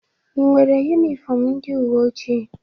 I nwere yunifọmụ ndị uweojii?